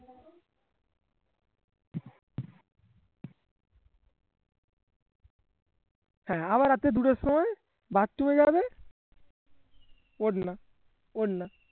আবার রাতের দুটোর সময় bathroom এ যাবে